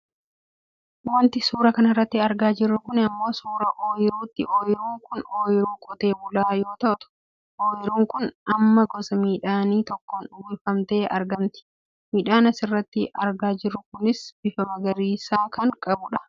Wanti suuraa kanarratti argaa jirru kun ammoo suuraa oyiruuti. Oyiruun kun oyiruu qote bulaa yoo taatu ooyiruun tun amma gosa midhaanii tokkoon uwwifamtee argamti. Midhaan asirratti argaa jirru kunis bifa magariisaa kan qabudha.